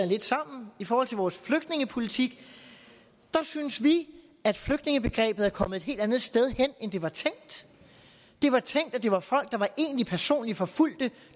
lidt sammen i forhold til vores flygtningepolitik synes vi at flygtningebegrebet er kommet et helt andet sted hen end det var tænkt det var tænkt at det var folk der var egentlig personligt forfulgte